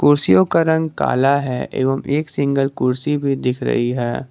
कुर्सियों का रंग काला है एवं एक सिंगल कुर्सी भी दिख रही है।